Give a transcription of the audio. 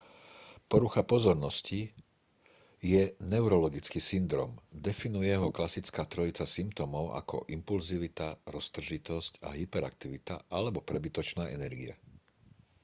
porucha pozornosti je neurologický syndróm definuje ho klasická trojica symptómov ako impulzivita roztržitosť a hyperaktivita alebo prebytočná energia